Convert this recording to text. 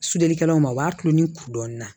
Sudelikɛlaw ma o b'a tulon ni kudɔnna